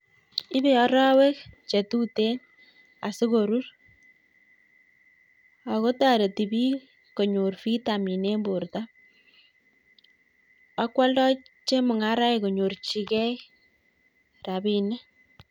Ibe arawek chetuten adikorur akotareti bik konyor vitamin en borta akwalda chemungaraek konyorchigei rabinik